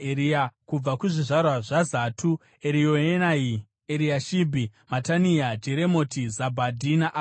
Kubva kuzvizvarwa zvaZatu: Erioenai, Eriashibhi, Matania, Jeremoti, Zabhadhi naAziza.